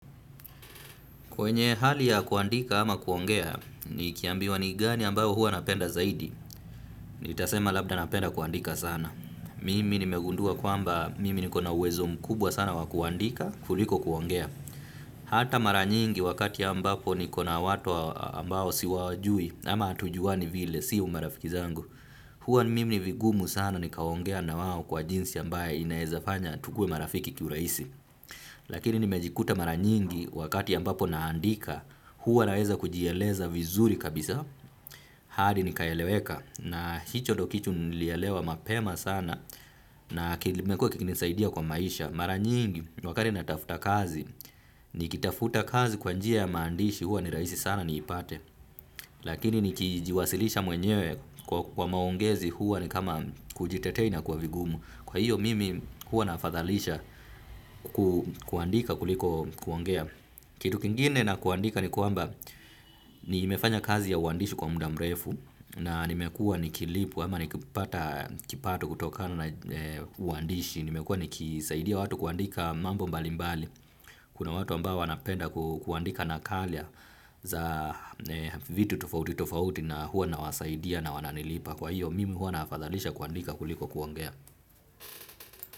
Kwenye hali ya kuandika ama kuongea, nikiambiwa ni gani ambayo huwa napenda zaidi. Nitasema labda napenda kuandika sana. Mimi nimegundua kwamba mimi niko na uwezo mkubwa sana wa kuandika, kuliko kuongea. Hata mara nyingi wakati ambapo niko na watu ambao siwajui ama hatujuani vile sio marafiki zangu. Hua mimi ni vigumu sana nikaongea na wao kwa jinsi ambaye inaezafanya tukue marafiki kiuraisi. Lakini nimejikuta mara nyingi wakati ambapo naandika, huwa naweza kujieleza vizuri kabisa. Hadi nikaeleweka na hicho ndo kichu nilielewa mapema sana na kilimekua kikinisaidia kwa maisha. Mara nyingi wakati natafta kazi nikitafuta kazi kwa njia ya maandishi huwa ni rahisi sana niipate. Lakini nikijiwasilisha mwenyewe kwa maongezi huwa ni kama kujitetea inakua vigumu. Kwa hiyo mimi hua nafadhalisha kuandika kuliko kuongea. Kitu kingine na kuandika ni kwamba nimefanya kazi ya uandishi kwa mda mrefu na nimekua nikilipwa ama nikipata kipato kutokana na uandishi. Nimekua nikisaidia watu kuandika mambo mbalimbali. Kuna watu ambao wanapenda kuandika nakalia za vitu tofauti tofauti na huwa nawasaidia na wananilipa. Kwa hiyo mimi hua nafadhalisha kuandika kuliko kuangea.